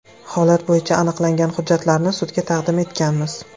Holat bo‘yicha aniqlangan hujjatlarni sudga taqdim etganmiz.